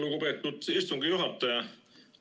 Lugupeetud istungi juhataja!